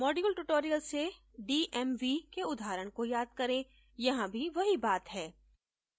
module tutorial से dmv के उदाहरण को याद करें यहाँ भी वही बात है